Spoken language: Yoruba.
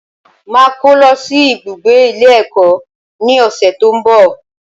Màá kó lọ sí ibùgbé Ilé ẹ̀kọ́ ní òsẹ̀ tó ń bọ̀